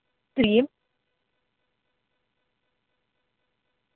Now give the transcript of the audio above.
ты